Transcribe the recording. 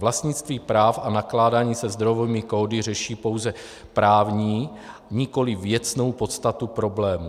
Vlastnictví práv a nakládání se zdrojovými kódy řeší pouze právní, nikoliv věcnou podstatu problému.